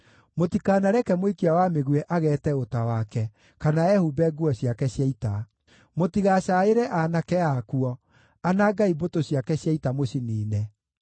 Mũtikanareke mũikia wa mĩguĩ ageete ũta wake, kana ehumbe nguo ciake cia ita. Mũtigacaĩre aanake akuo; anangai mbũtũ ciake cia ita, mũciniine.